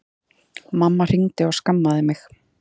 Mamma hringdi og skammaði mig